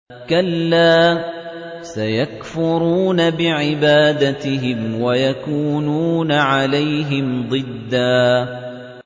كَلَّا ۚ سَيَكْفُرُونَ بِعِبَادَتِهِمْ وَيَكُونُونَ عَلَيْهِمْ ضِدًّا